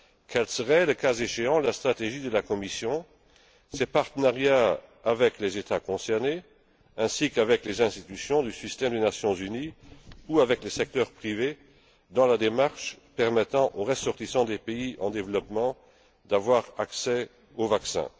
Quelle serait, le cas échéant, la stratégie de la Commission, ses partenariats avec les États concernés ainsi qu'avec les institutions du système des Nations unies ou avec le secteur privé dans la démarche permettant aux ressortissants des pays en développement d'avoir accès au vaccin?